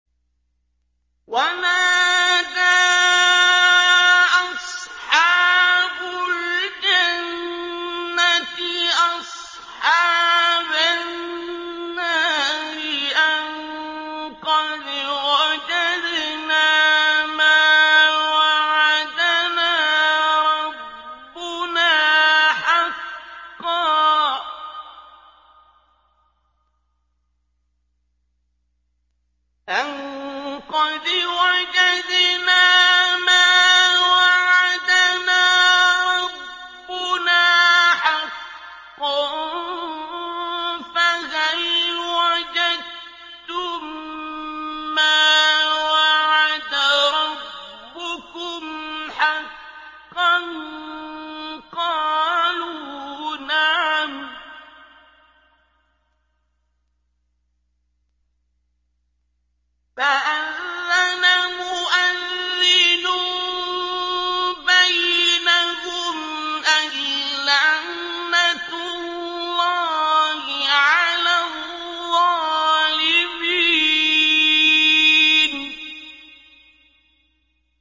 وَنَادَىٰ أَصْحَابُ الْجَنَّةِ أَصْحَابَ النَّارِ أَن قَدْ وَجَدْنَا مَا وَعَدَنَا رَبُّنَا حَقًّا فَهَلْ وَجَدتُّم مَّا وَعَدَ رَبُّكُمْ حَقًّا ۖ قَالُوا نَعَمْ ۚ فَأَذَّنَ مُؤَذِّنٌ بَيْنَهُمْ أَن لَّعْنَةُ اللَّهِ عَلَى الظَّالِمِينَ